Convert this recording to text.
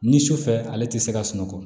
Ni su fɛ ale tɛ se ka sunɔgɔ